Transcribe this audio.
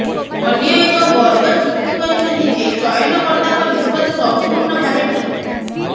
ଅନ୍ୟ ଏକ ବର୍ଗ ଯୁକ୍ତି କରିଛନ୍ତି ଯେ ଚୟନକର୍ତ୍ତାଙ୍କ ନିଷ୍ପତ୍ତି ସଂପୂର୍ଣ୍ଣ ଭାବେ ଠିକ୍